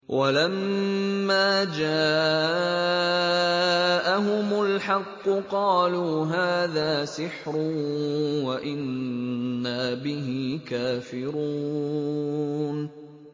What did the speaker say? وَلَمَّا جَاءَهُمُ الْحَقُّ قَالُوا هَٰذَا سِحْرٌ وَإِنَّا بِهِ كَافِرُونَ